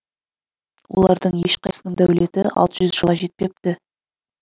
олардың ешқайсысының дәулеті алты жүз жылға жетпепті